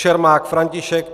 Čermák František